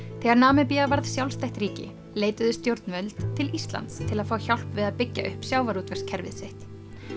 þegar Namibía varð sjálfstætt ríki leituðu stjórnvöld til Íslands til að fá hjálp við að byggja upp sjávarútvegskerfið sitt